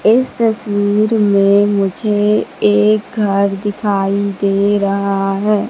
इस तसवीर में मुझे एक घर दिखाई दे रहा है।